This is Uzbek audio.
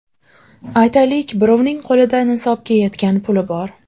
Aytaylik, birovning qo‘lida nisobga yetgan puli bor.